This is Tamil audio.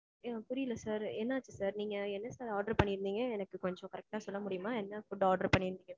எனக்கு புரியல sir. என்ன ஆச்சு sir. நீங்க என்ன sir order பண்ணி இருந்தீங்க. எனக்கு கொஞ்சம் correct டா சொல்ல முடியுமா. என்ன food order பண்ணிருக்கீங்க?